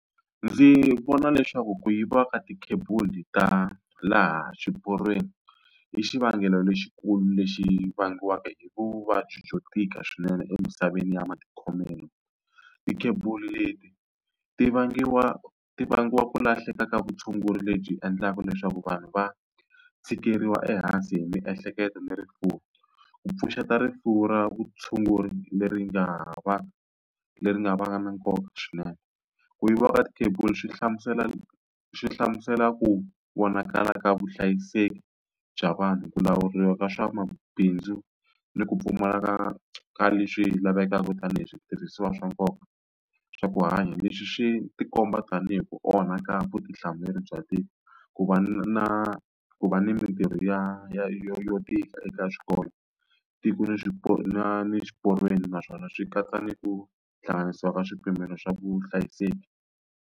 Ndzi vona leswaku ku yiviwa ka ti-cable ta laha swiporweni, i xivangelo lexikulu lexi vangiwaka hi vuvabyi byo tika swinene emisaveni ya matikhomelo. Ti-cable leti ti vangiwa ti vangiwa ku lahleka ka vutshunguri lebyi endlaka leswaku vanhu va tshikeleriwa ehansi hi miehleketo ni rifuwo. Ku pfuxeta rifuwo ra vutshunguri leri nga va leri nga va na nkoka swinene. Ku yiviwa ka ti-cable swi hlamusela swi hlamusela ku vonakala ka vuhlayiseki bya vanhu, ku lawuriwa ka swa mabindzu, ni ku pfumaleka ka leswi lavekaka tanihi switirhisiwa swa nkoka swa ku hanya. Leswi swi ti komba tanihi ku onha ka vutihlamuleri bya tiko, ku va na ku va ni mintirho ya yo yo tika eka swiporo, tiko ni na ni swiporweni naswona swi katsa ni ku hlanganisiwa ka swipimelo swa vuhlayiseki.